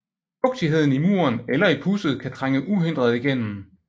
Fugtigheden i muren eller i pudset kan trænge uhindret igennem